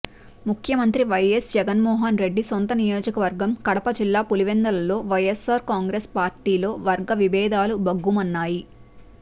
ముఖ్యమంత్రి వైఎస్ జగన్మోహన్ రెడ్డి సొంత నియోజకవర్గం కడప జిల్లా పులివెందులలో వైఎస్సార్ కాంగ్రెస్ పార్టీలో వర్గ విభేదాలు భగ్గుమన్నాయి